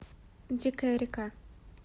дикая река